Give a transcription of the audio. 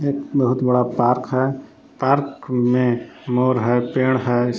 एक बहुत बड़ा पार्क है पार्क में मोर है पेड़ है।